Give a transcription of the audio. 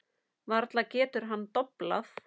Varla getur hann doblað.